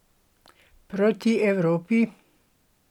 Proti Evropi?